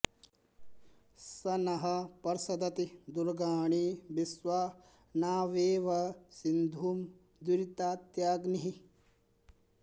स नः पर्षदति दुर्गाणि विश्वा नावेव सिन्धुं दुरितात्यग्निः